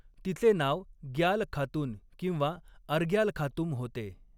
तिचे नाव ग्याल खातून किंवा अर्ग्याल खातूम होते.